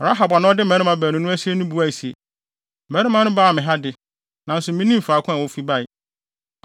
Rahab a na ɔde mmarima baanu no asie no buae se, “Mmarima no baa me ha de, nanso minnim faako a wofi bae.